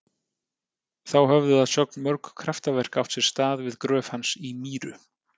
Þá höfðu að sögn mörg kraftaverk átt sér stað við gröf hans í Mýru.